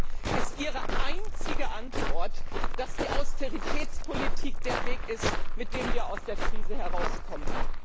Und deswegen ist ihre einzige Antwort, dass die Austeritätspolitik der Weg ist, auf dem wir aus der Krise herauskommen.